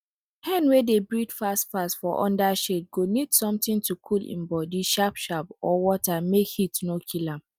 hen wey dey breathe fast fast for under shade go need sometin to cool im body sharp sharp or water make heat no kill am